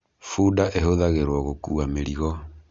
Bunda ahũthagirwo gũkua mĩrĩgo.